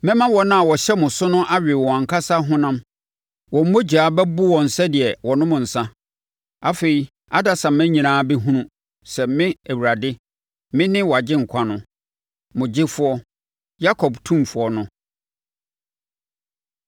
Mema wɔn a wɔhyɛ mo so no awe wɔn ankasa honam; wɔn mogya bɛbo wɔn sɛdeɛ wɔanom nsã. Afei adasamma nyinaa bɛhunu sɛ me, Awurade, me ne wʼAgyenkwa no, mo Gyefoɔ, Yakob Otumfoɔ No.”